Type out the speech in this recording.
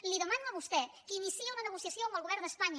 li demano a vostè que iniciï una negociació amb el govern d’espanya